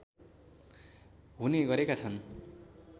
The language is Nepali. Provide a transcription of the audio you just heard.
हुने गरेका छन्